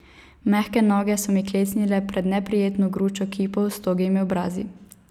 Mehke noge so mi klecnile pred neprijetno gručo kipov s togimi obrazi.